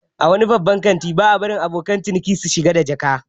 A wasu babban kantin ba a barin abokan ciniki su shiga da jaka